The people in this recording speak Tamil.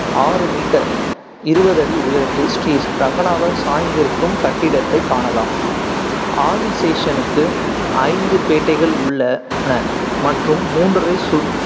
ஆறு meter இருவது அடி உயரத்தில் ஸ்ரீ ரங்கநாதர் சாய்ந்திருக்கும் கட்டிடத்தைக் காணலாம் ஆதிசேஷனுக்கு ஐந்து பேட்டைகள் உள்ளன மற்றும் மூன்றரை சு~